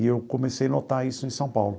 E eu comecei a notar isso em São Paulo.